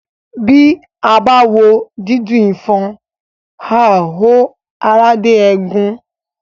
Bí a bá wo dídùn ifọ̀n, àá họ ara dé egun